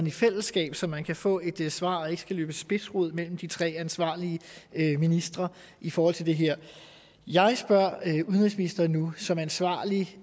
i fællesskab så man kan få et svar og ikke skal løbe spidsrod mellem de tre ansvarlige ministre i forhold til det her jeg spørger udenrigsministeren nu som ansvarlig